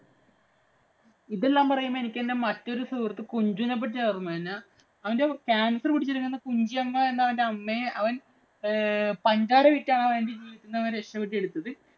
ഇതെല്ലാം പറയുമ്പോ എനിക്ക് എന്‍റെ മറ്റൊരു സുഹൃത്ത് കുഞ്ചുവിനെ പറ്റിയാണ് ഓര്‍മ്മ വരുന്നത്. അവന്‍റെ cancer പിടിച്ചിരുന്ന അവന്‍റെ കുഞ്ചിയമ്മ എന്ന അവന്‍റെ അമ്മയെ ഏർ അവന്‍ പഞ്ചാരവിറ്റാണ് അവന്‍ രക്ഷപ്പെടുത്തിയെടുത്തത്.